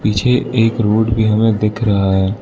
पीछे एक रोड भी हमें दिख रहा है।